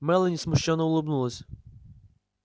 мелани смущённо улыбнулась